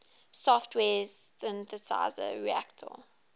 software synthesizer reaktor